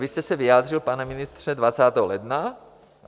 Vy jste se vyjádřil, pane ministře, 20. ledna...